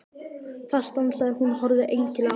Þar stansaði hún og horfði einkennilega á þá.